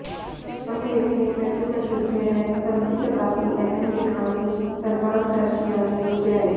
मम लेखने प्रचुर अशुद्धयः सन्ति तदापि अहं लिखामि सर्वान् दर्शयामि च